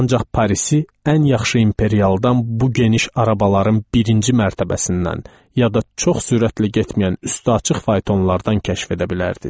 Ancaq Parisi ən yaxşı imperialdan, bu geniş arabaların birinci mərtəbəsindən, ya da çox sürətlə getməyən üstü açıq faytonlardan kəşf edə bilərdiz.